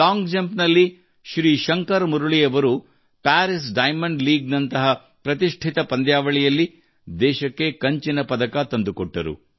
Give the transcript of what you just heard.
long jump ನಲ್ಲಿ ಶ್ರೀಶಂಕರ್ ಮುರಳಿ ಅವರು Paris diamond league ನಂತಹ ಪ್ರತಿಷ್ಠಿತ ಪಂದ್ಯಾವಳಿಯಲ್ಲಿ ದೇಶಕ್ಕೆ ಕಂಚಿನ ಪದಕ ತಂದುಕೊಟ್ಟರು